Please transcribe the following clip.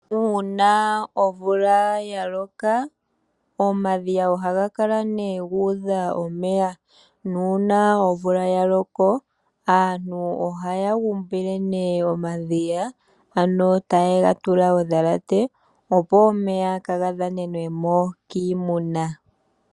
Uuna omvula yaloko omadhiya ohaga kala nee guudha omeya, nuuna omvula ya loka aantu ohaya gumbile nee omadhiya ano taye ga tula odhalate, opo omeya kaagadhanenwe mo kiimuna.